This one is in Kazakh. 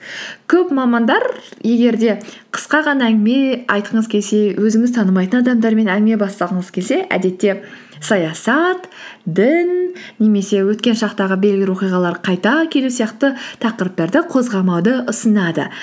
көп мамандар егер де қысқа ғана әңгіме айтқыңыз келсе өзіңіз танымайтын адамдармен әңгіме бастағыңыз келсе әдетте саясат дін немесе өткен шақтағы қайта келу сияқты тақырыптарды қозғамауды ұсынады